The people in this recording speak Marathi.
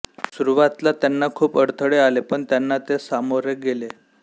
सुरुवातला त्यांना खूप अडथळे आले पण त्यांना ते सामोरे गेले